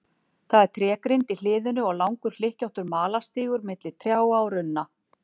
Það er trégrind í hliðinu og langur hlykkjóttur malarstígur milli trjáa og runna.